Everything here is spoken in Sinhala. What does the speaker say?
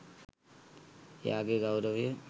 එයාගේ ගෞරවය